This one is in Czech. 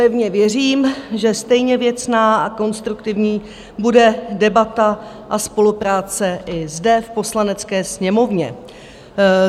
Pevně věřím, že stejně věcná a konstruktivní bude debata a spolupráce i zde v Poslanecké sněmovně.